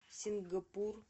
сингапур